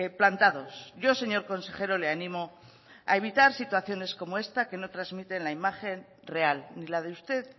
plantados yo señor consejero le animo a evitar situaciones como esta que no transmiten la imagen real ni la de usted